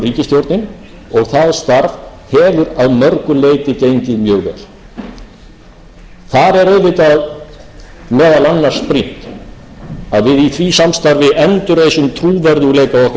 ríkisstjórnin og það starf hefur að mörgu leyti gengið mjög vel þar er auðvitað meðal annars brýnt að við í því samstarfi endurreisum trúverðugleika okkar á alþjóðavettvangi og hluti af því er þetta farsæla samstarf